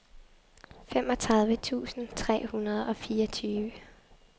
femogtredive tusind tre hundrede og fireogtyve